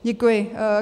Děkuji.